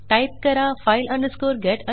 type करा file get contents